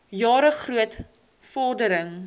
jare groot vordering